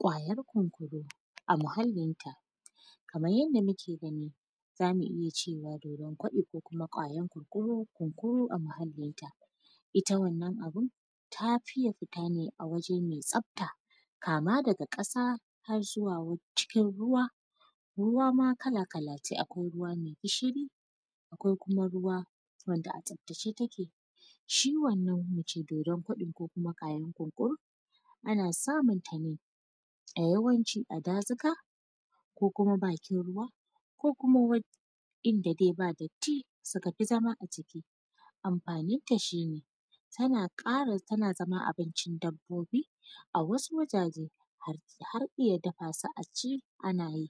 Ƙwayan kunkuru a muhalin ta, kamar yadda muke gani zamu iya cewa dodon koɗi ko kuma ƙwayan kunkuru a muhalinta ita wannan abun ta fi iya futa ne wa waje mai tsafta kama daga kasa har zuwa cikin ruwa, ruwa ma kala-kala ce akwai ruwa mai gishiri akwai kuma ruwa wanda a tsaftace take shi wannan muce dodon koɗin ko kuma ƙwayan kunkuru ana samunta ne yawanci a dazuka ko kuma bakin ruwa ko kuma inda dai ba datti suka fi zama a ciki, amfanin ta shi ne tana kara tana zama abincin dabbobi a wasu wazaje har iya dafa su a ci ana yi,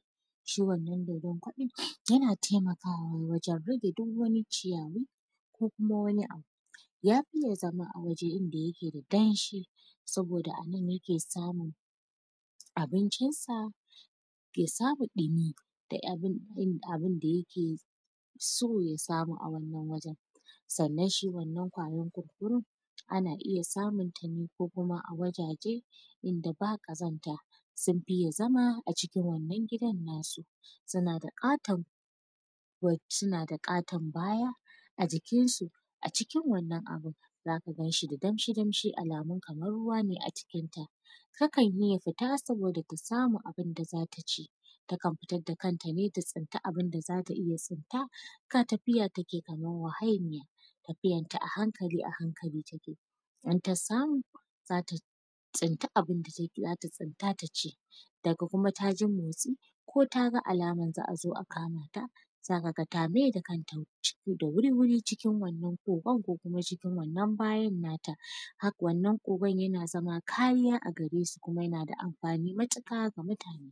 shi wannan dodon koɗin yana taimakawa wajen rage duk wani ciyayi ko kuma wani abu ya fiye zama a waje inda yake da danshi saboda a nan yake samun abincin say a saba dumi duk abun da yake so ya samu a wannan wajen sannan shi wannan kwayan kunkuru ana iya samunta ne a wajaje inda ba kazanta sun fiye zama a cikin wannan gidan nasu suna da katon suna da katon baya a jikin su a cikin wannan abun zaka ganshi da damshi-damshi alamun kamar ruwa ne a cikin ta, ta kan iya futa saboda ta samu abun da zata ci, takan futar da kanta ne ta tsinta abun da zata iya tsinta kai tafiya take yi kamar mahauniya tafiyanta a hankali a hankali take yi idan ta samu zata tsinta abun da zata tsinta ta ci daga kuma taji motsi ko taga alamar za a zo a kamata zaka ga ta mai da kanta ciki da wuri-wuri cikin wannan kokan ko kuma cikin wannan bayan nata, wannan kokon yana zama kariya a garesu kuma yana da amfani matuka ga mutane.